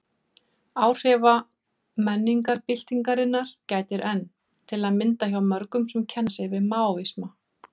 Áhrifa menningarbyltingarinnar gætir enn, til að mynda hjá mörgum sem kenna sig við Maóisma.